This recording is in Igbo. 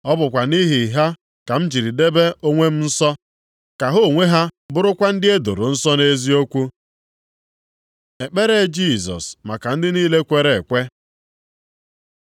Ọ bụkwa nʼihi ha ka m jiri debe onwe m nsọ, ka ha onwe ha bụrụkwa ndị e doro nsọ nʼeziokwu. Ekpere Jisọs maka ndị niile kwere ekwe